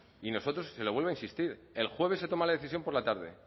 y nosotros se lo vuelvo a insistir el jueves se toma la decisión por la tarde